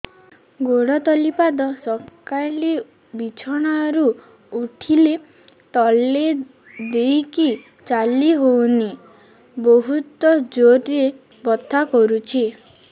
ଗୋଡ ତଳି ପାଦ ସକାଳେ ବିଛଣା ରୁ ଉଠିଲେ ତଳେ ଦେଇକି ଚାଲିହଉନି ବହୁତ ଜୋର ରେ ବଥା କରୁଛି